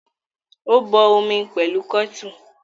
Ó bọ omi pẹ̀lú kẹ́tù.